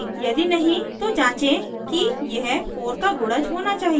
यदि नहीं तो जाचें कि यह 4 का गुणज होना चाहिए